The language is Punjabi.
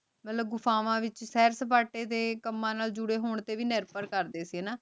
ਮਤਲਬ ਗੁਫਾਵਾਂ ਵਿਚ ਸਿਰ ਸਪਾਟੇ ਦੇ ਕਮਾਨ ਨਾਲ ਜੂਰੀ ਹੋਣ ਤੇ ਵੀ ਨਿਰਭਰ ਕਰਦੇ ਸੀ ਹਾਨਾ